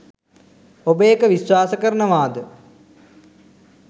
ඔබ ඒක විශ්වාසකරනවා ද?